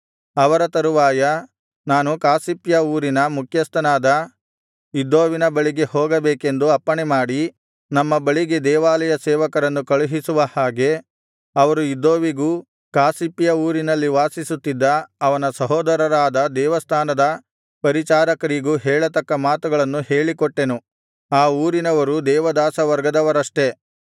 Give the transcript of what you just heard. ಅವರ ತರುವಾಯ ನಾನು ಕಾಸಿಫ್ಯ ಊರಿನ ಮುಖ್ಯಸ್ಥನಾದ ಇದ್ದೋವಿನ ಬಳಿಗೆ ಹೋಗಬೇಕೆಂದು ಅಪ್ಪಣೆಮಾಡಿ ನಮ್ಮ ಬಳಿಗೆ ದೇವಾಲಯ ಸೇವಕರನ್ನು ಕಳುಹಿಸುವ ಹಾಗೆ ಅವರು ಇದ್ದೋವಿಗೂ ಕಾಸಿಫ್ಯ ಊರಿನಲ್ಲಿ ವಾಸಿಸುತ್ತಿದ್ದ ಅವನ ಸಹೋದರರಾದ ದೇವಸ್ಥಾನದ ಪರಿಚಾರಕರಿಗೂ ಹೇಳತಕ್ಕ ಮಾತುಗಳನ್ನು ಹೇಳಿಕೊಟ್ಟೆನು ಆ ಊರಿನವರು ದೇವದಾಸವರ್ಗದವರಷ್ಟೆ